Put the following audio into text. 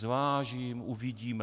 Zvážím, uvidíme.